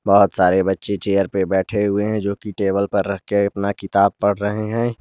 बहुत सारे बच्चे चेयर पर बैठे हुए हैं जोकि टेबल पर रख के अपना किताब पढ़ रहे हैं।